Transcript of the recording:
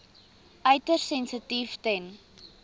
uiters sensitief ten